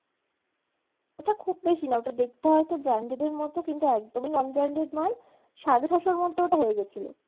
ওটা খুব বেশি না ওটা দেখতে হয়তো branded এর মতো কিন্তু একদমই non-branded মাল সাড়ে ছয়শোর মধ্যে ওটা হয়ে গেছিলো।